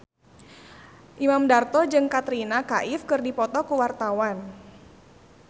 Imam Darto jeung Katrina Kaif keur dipoto ku wartawan